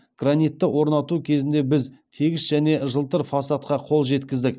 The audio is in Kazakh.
гранитті орнату кезінде біз тегіс және жылтыр фасадқа қол жеткіздік